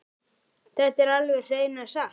Þetta er alveg hreina satt!